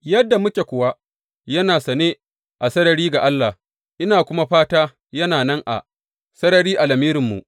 Yadda muke kuwa, yana sane a sarari ga Allah, ina kuma fata yana nan a sarari a lamirinku.